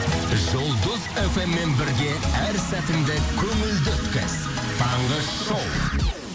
жұлдыз фм мен бірге әр сәтіңді көңілді өткіз таңғы шоу